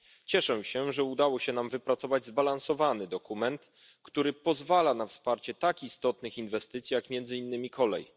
Cieszę się, że udało się nam wypracować zbalansowany dokument, który pozwala na wsparcie tak istotnych inwestycji jak między innymi kolej.